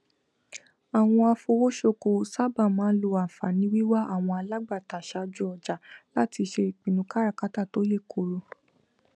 àwọn afowósókowò sáabà máa n lo ànfààní wíwà àwọn alágbàtà sáájú ọjà láti ṣe ìpinnu káràkátà tó yè kooro